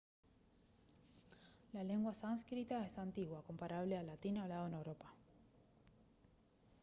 la lengua sánscrita es antigua comparable al latín hablado en europa